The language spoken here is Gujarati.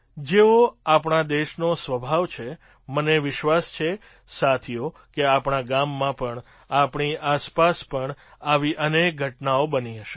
જેવો આપણા દેશનો સ્વભાવ છે મને વિશ્વાસ છે સાથીઓ કે આપણા ગામમાં પણ આપણી આસપાસ પણ આવી અનેક ઘટનાઓ બની હશે